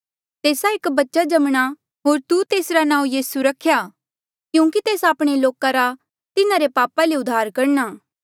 तेस्सा एक बच्चा जमणा होर तू तेसरा नांऊँ यीसू रख्या क्यूंकि तेस आपणे लोका रा तिन्हारे पापा ले उद्धार करणा